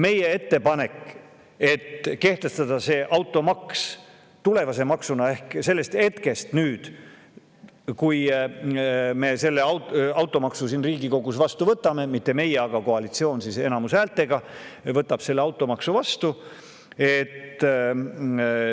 Meie ettepanek oli kehtestada automaks tulevase maksuna ehk sellest hetkest, kui me automaksu siin Riigikogus vastu võtame – mitte meie, vaid koalitsioon enamushäältega võtab selle automaksu vastu.